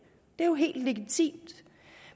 er jo helt legitimt